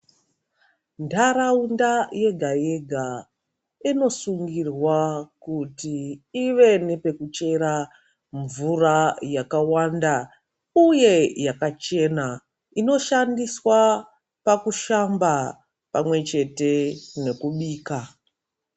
Ndaraunda yega yega inosungirwa kuti ive nepekuchera mvura yakawanda uye yakachena inoshandiswa pakushamba pamwe chete nekubika.